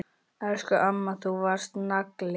Elsku amma, þú varst nagli.